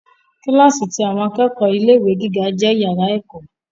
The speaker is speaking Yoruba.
Kílàsì ti àwọn akẹ́kọ̀ọ́ ilé ìwé gíga jẹ iyàrá ẹ̀kọ́.